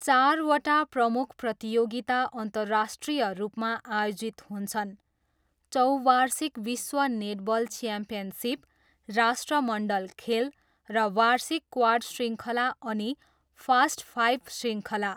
चारवटा प्रमुख प्रतियोगिता अन्तर्राष्ट्रिय रूपमा आयोजित हुन्छन्, चौवार्षिक विश्व नेटबल च्याम्पियनसिप, राष्ट्रमण्डल खेल र वार्षिक क्वाड शृङ्खला अनि फास्टफाइभ शृङ्खला।